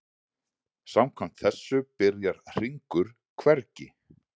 Samkvæmt þessu byrjar hringur hvergi.